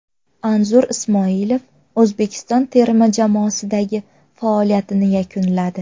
Anzur Ismoilov O‘zbekiston terma jamoasidagi faoliyatini yakunladi.